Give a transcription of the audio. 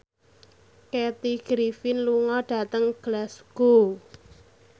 Kathy Griffin lunga dhateng Glasgow